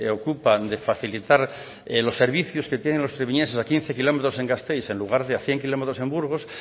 ocupa de facilitar los servicios que tienen los treviñeses a quince kilómetros en gasteiz en lugar de a cien kilómetros en burgos